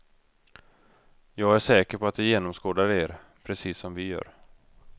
Jag är säker på att de genomskådar er, precis som vi gör.